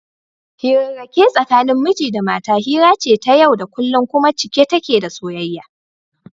Hirarrake tsakanin miji da mata hira ce ta yau da kullum kuma cike take da soyayya.